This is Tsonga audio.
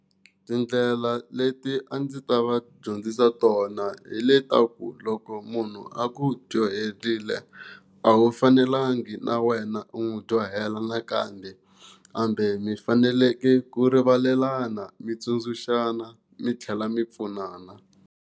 Tindlela leti a ndzi ta va dyondzisa tona hi le ta ku loko munhu a ku dyohelile a wu fanelangi na wena u n'wi dyohela nakambe hambe mi faneleke ku rivalelana mi tsundzuxana mi tlhela mi pfunana.